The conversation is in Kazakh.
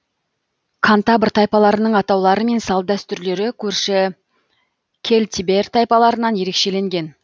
кантабр тайпаларының атаулары мен салт дәстүрлері көрші кельтибер тайпаларынан ерекшеленген